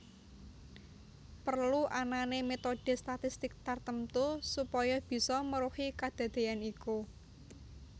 Perlu anané metode statistik tartemtu supaya bisa meruhi kadadean iku